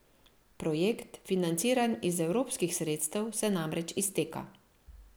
Projekt, financiran iz evropskih sredstev, se namreč izteka.